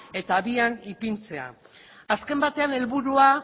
eta abian ipintzea azken batean helburua